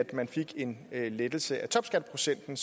man fik en lettelse af topskatteprocenten